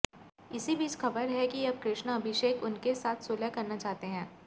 इसी बीच खबर है कि अब कृष्णा अभिषेक उनके साथ सुलह करना चाहते हैं